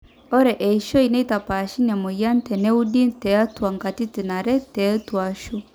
ore eishoi neitapaashe ina mweyian teneudi entuaa katitin are tetuashu